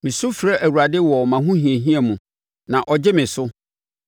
Mesu frɛ Awurade wɔ mʼahohiahia mu, na ɔgye me so.